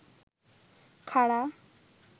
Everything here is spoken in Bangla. খাড়া